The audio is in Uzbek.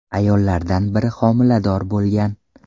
Ayollardan biri homilador bo‘lgan.